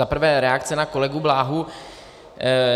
Za prvé reakce na kolegu Bláhu.